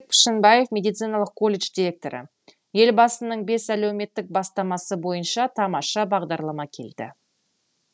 пішенбаев медициналық колледж директоры елбасының бес әлеуметтік бастамасы бойынша тамаша бағдарлама келді